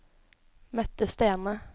Mette Stene